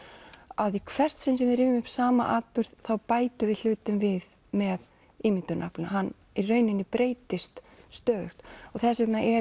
að í hvert sinn sem við rifjum upp sama atburð bætum við hlutum við með ímyndunaraflinu hann breytist stöðugt þess vegna